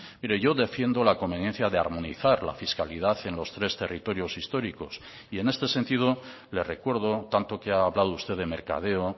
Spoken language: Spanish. mire yo defiendo la conveniencia de armonizar la fiscalidad en los tres territorios históricos y en este sentido le recuerdo tanto que ha hablado usted de mercadeo